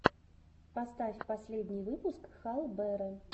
поставь последний выпуск хал бера